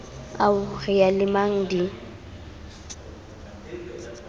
ao re a lemang di